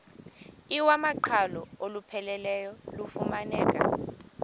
iwamaqhalo olupheleleyo lufumaneka